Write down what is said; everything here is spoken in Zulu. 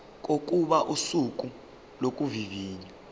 kokuba usuku lokuvivinywa